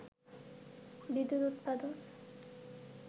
বিদ্যুৎ উৎপাদন